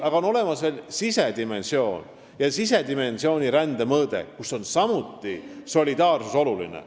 Aga on olemas veel sisedimensioon ja rände sisedimensiooni mõõde, kus on solidaarsus samuti oluline.